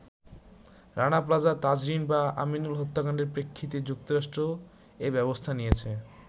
“Rana plaza, Tazreen বা আমিনুল হত্যাকাণ্ডের প্রেক্ষিতে যুক্তরাষ্ট্র এ ব্যবস্থা নিয়েছে।